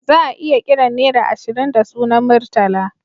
Za'a iya kiran nera ashirin da sunan Murtala